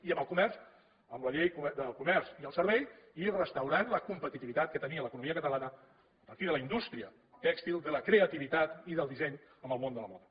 i amb el comerç amb la llei del comerç i el servei i restaurant la competitivitat que tenia l’economia catalana a partir de la indústria tèxtil de la creativitat i del disseny en el món de la moda